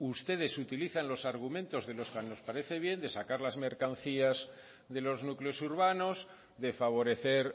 ustedes utilizan los argumentos de los que nos parece bien de sacar las mercancías de los núcleos urbanos de favorecer